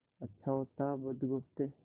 अच्छा होता बुधगुप्त